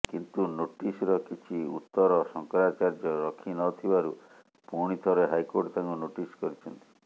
କିନ୍ତୁ ନୋଟିସର କିଛି ଉତର ଶଙ୍କରାଚାର୍ଯ୍ୟ ରଖିନଥିବାରୁ ପୁଣି ଥରେ ହାଇକୋର୍ଟ ତାଙ୍କୁ ନୋଟିସ କରିଛନ୍ତି